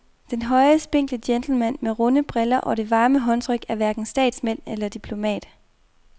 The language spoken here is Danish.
Den høje, spinkle gentleman med de runde briller og det varme håndtryk er hverken statsmand eller diplomat.